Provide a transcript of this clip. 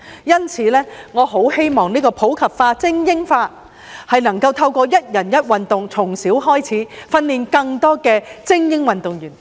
因此，我很希望普及化、精英化能夠透過"一人一運動"，從小開始訓練更多精英運動員。